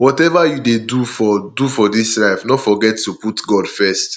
whatever you dey do for do for dis life no forget to put god first